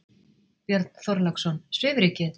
Björn Þorláksson: Svifrykið?